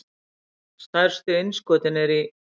Stærstu innskotin eru í